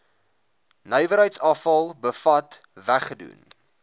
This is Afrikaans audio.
nywerheidsafval bevat weggedoen